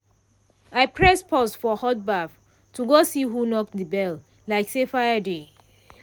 i press pause for hot baff to go see who knock the bell like say fire dey.